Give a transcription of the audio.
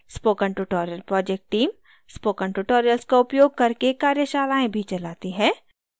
spoken tutorial project team spoken tutorial का उपयोग करके कार्यशालाएँ भी चलाते हैं